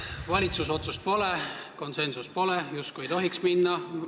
Valitsuse otsust pole, konsensust pole – välisminister ei tohiks justkui minna.